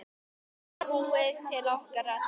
Samúð til okkar allra.